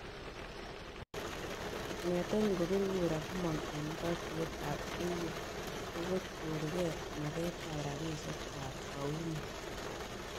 Kongeten ingopir kura komang' en katuyet ab Eu, kokikochorge maket ab rapisiek kwak 'paunit'